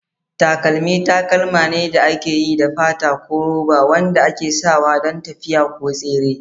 Takalmi takalma ne da aka yi da fata ko roba wanda ake sawa don tafiya ko tsere.